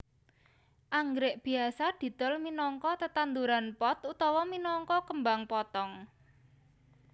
Anggrèk biasa didol minangka tetanduran pot utawa minangka kembang potong